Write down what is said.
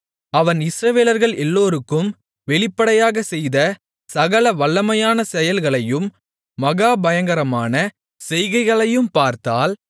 அவன் இஸ்ரவேலர்கள் எல்லோருக்கும் வெளிப்படையாகச் செய்த சகல வல்லமையான செயல்களையும் மகா பயங்கரமான செய்கைகளையும் பார்த்தால்